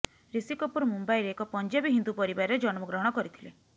ଋଷି କପୁର ମୁମ୍ୱାଇରେ ଏକ ପଂଜାବୀ ହିନ୍ଦୁ ପରିବାରରେ ଜନ୍ମଗ୍ରହଣ କରିଥିଲେ